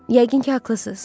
Yəqin ki, haqlısız.